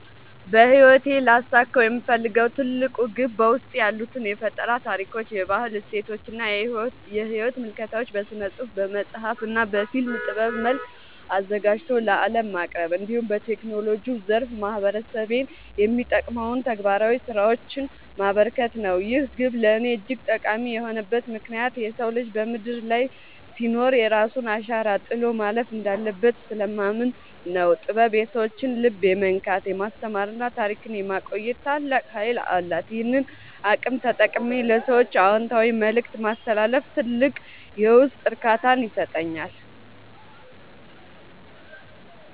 በሕይወቴ ሊያሳካው የምፈልገው ትልቁ ግብ በውስጤ ያሉትን የፈጠራ ታሪኮች፣ የባህል እሴቶችና የሕይወት ምልከታዎች በሥነ-ጽሑፍ (በመጽሐፍ) እና በፊልም ጥበብ መልክ አዘጋጅቶ ለዓለም ማቅረብ፣ እንዲሁም በቴክኖሎጂው ዘርፍ ማኅበረሰቤን የሚጠቅሙ ተግባራዊ ሥራዎችን ማበርከት ነው። ይህ ግብ ለእኔ እጅግ ጠቃሚ የሆነበት ምክንያት የሰው ልጅ በምድር ላይ ሲኖር የራሱን አሻራ ጥሎ ማለፍ እንዳለበት ስለማምን ነው። ጥበብ የሰዎችን ልብ የመንካት፣ የማስተማርና ታሪክን የማቆየት ታላቅ ኃይል አላት፤ ይህንን አቅም ተጠቅሜ ለሰዎች አዎንታዊ መልእክት ማስተላለፍ ትልቅ የውስጥ እርካታን ይሰጠኛል።